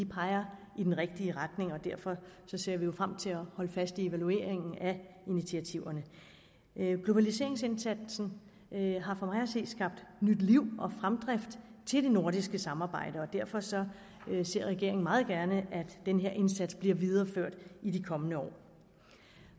peger i den rigtige retning og derfor ser vi jo frem til at holde fast i evalueringen af initiativerne globaliseringsindsatsen har for mig at se skabt nyt liv og fremdrift til det nordiske samarbejde og derfor ser regeringen meget gerne at den her indsats bliver videreført i de kommende år